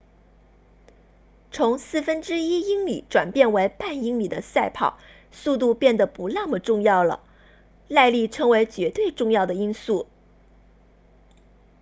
从四分之一英里转变为半英里的赛跑速度变得不那么重要了耐力成为绝对重要的因素